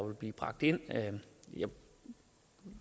vil blive bragt ind